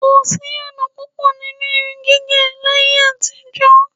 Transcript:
Kò sí ọ̀nà púpọ̀ nínú irun gígẹ̀ láyé-àtijọ.